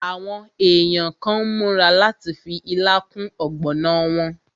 Àwọn èèyàn kàn n múra láti fi ilá kún ọ̀gbọ̀nà wọn